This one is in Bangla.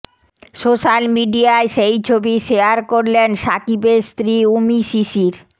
সোশ্যাল মিডিয়ায় সেই ছবি শেয়ার করলেন শাকিবের স্ত্রী উমী শিশির